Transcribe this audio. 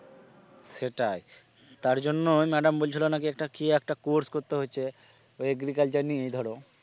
সেটাই তার জন্যই madam বলছিলো নাকি একটা কি একটা course করতে হচ্ছে ওই agriculture নিয়ে ধরো ।